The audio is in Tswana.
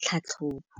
tlhatlhobô.